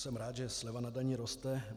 Jsem rád, že sleva na dani roste.